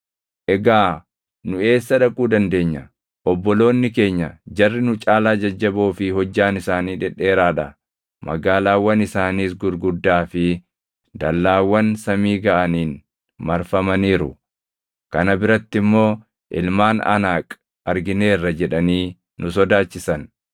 Egaa nu eessa dhaquu dandeenya? Obboloonni keenya, ‘Jarri nu caalaa jajjaboo fi hojjaan isaanii dhedheeraa dha; magaalaawwan isaaniis gurguddaa fi dallaawwan samii gaʼaniin marfamaniiru; kana biratti immoo ilmaan Anaaq argineerra’ jedhanii nu sodaachisan.”